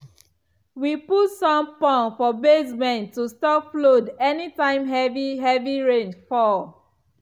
we put sump pump for basement to stop flood anytime heavy heavy rain fall.